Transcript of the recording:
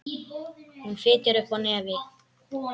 Hún fitjar upp á nefið.